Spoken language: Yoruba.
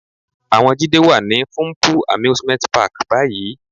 Àwọn Jídé wà ní Funple Amusement Park báyìí.